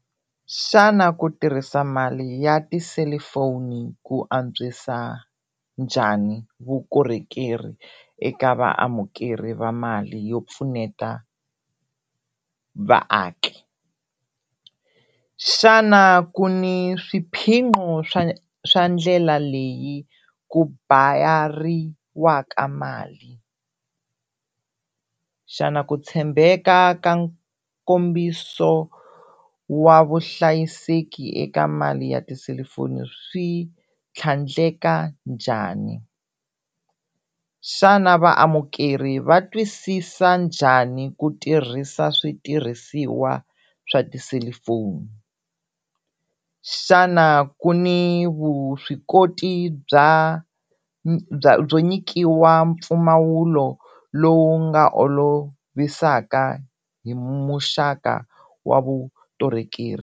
Xana ku tirhisa mali ya tiselifoni ku antswisa njhani vukorhokeri eka vaamukeri va mali yo pfuneta vaaki? Xana ku ni swiphiqo swa swa ndlela leyi ku bayariwaka mali? Xana ku tshembeka ka nkombiso wa vuhlayiseki eka mali ya tiselifoni swi tlhandleka njhani? Xana vaamukeri va twisisa njhani ku tirhisa switirhisiwa swa tiselifoni? Xana ku ni vuswikoti bya byo nyikiwa mpfumawulo lowu nga olovisaka hi muxaka wa .